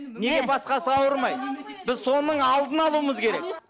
неге басқасы ауырмайды біз соның алдын алуымыз керек